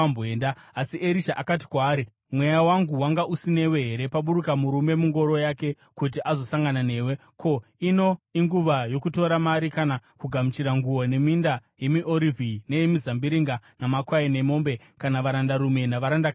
Asi Erisha akati kwaari, “Mweya wangu wanga usinewe here paburuka murume mungoro yake kuti azosangana newe? Ko, ino inguva yokutora mari kana kugamuchira nguo, neminda yemiorivhi, neyemizambiringa, namakwai, nemombe, kana varandarume navarandakadzi here?